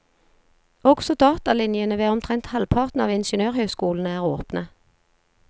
Også datalinjene ved omtrent halvparten av ingeniørhøyskolene er åpne.